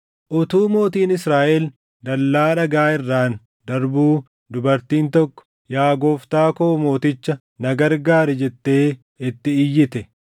Utuu mootiin Israaʼel dallaa dhagaa irraan darbuu dubartiin tokko, “Yaa gooftaa koo mooticha, na gargaari” jettee itti iyyite.